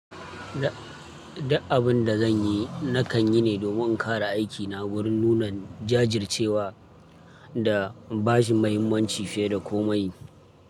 Da abin da zan yi, na kan yi ne domin kara aikina wurin nuna jajircewa da ba shi muhimmanci fiye da komai.